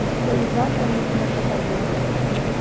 Isso foi exatamente nessa ocasião, quando eu cheguei lá.